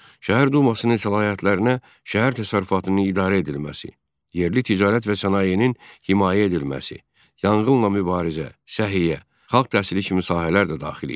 Şəhər Dumasının səlahiyyətlərinə şəhər təsərrüfatının idarə edilməsi, yerli ticarət və sənayenin himayə edilməsi, yanğınla mübarizə, səhiyyə, xalq təhsili kimi sahələr də daxil idi.